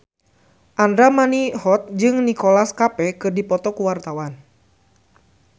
Andra Manihot jeung Nicholas Cafe keur dipoto ku wartawan